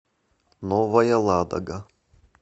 новая ладога